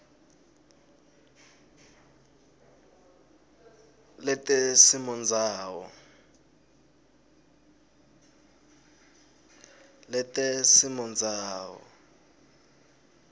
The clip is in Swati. letesimondzawo